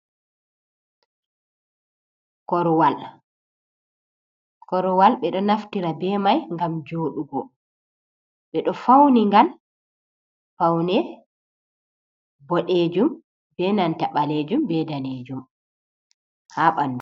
Korwal, korwal ɓe ɗo naftira be mai ngam joɗugo. Ɓe ɗo fauni ngal faune boɗejum be nanta ɓaleejum be danejum ha ɓandu.